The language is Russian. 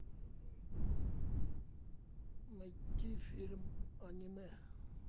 найти фильм аниме